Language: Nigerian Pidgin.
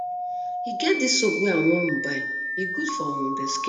e get dis soap wey i wan um buy e good for um the skin